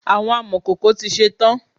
Àwọn amọkòkò to ṣe tán.